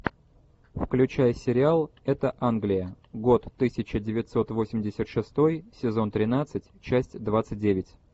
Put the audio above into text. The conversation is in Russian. включай сериал это англия год тысяча девятьсот восемьдесят шестой сезон тринадцать часть двадцать девять